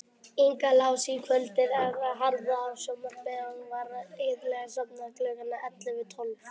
Inga las á kvöldin eða horfði á sjónvarp og var iðulega sofnuð klukkan ellefu.